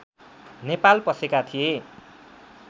नेपाल पसेका थिए